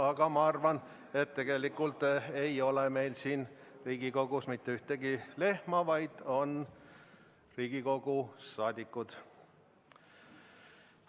Aga ma arvan, et tegelikult ei ole meil siin Riigikogus mitte ühtegi lehma, vaid on Riigikogu liikmed.